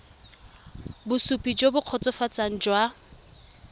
bosupi jo bo kgotsofatsang jwa